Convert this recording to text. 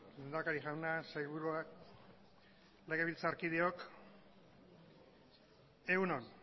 lehendakari jauna sailburuak legebiltzarkideok egun on